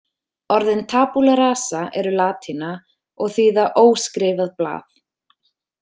Orðin tabula rasa eru latína og þýða óskrifað blað.